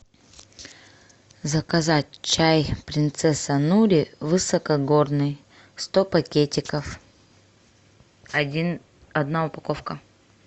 заказать чай принцесса нури высокогорный сто пакетиков один одна упаковка